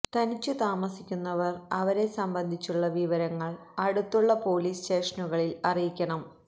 തനിച്ചു താമസിക്കുന്നവര് അവരെ സംബന്ധിച്ചുള്ള വിവരങ്ങള് അടുത്തുള്ള പോലീസ് സ്റ്റേഷനുകളില് അറിയിക്കണം